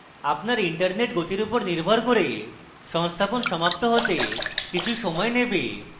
আপনার internet গতি উপর নির্ভর করে সংস্থাপন সমাপ্ত হতে কিছু সময় নেবে